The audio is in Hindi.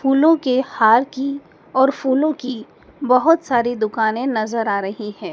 फूलों के हार की और फूलों की बहुत सारी दुकानें नज़र आ रही हैं।